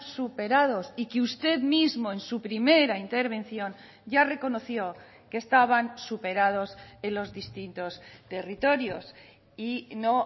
superados y que usted mismo en su primera intervención ya reconoció que estaban superados en los distintos territorios y no